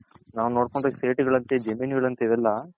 ನಾವ್ ನೋಡ್ಕೊಂಡ್ರೆ ಇವೆಲ್ಲ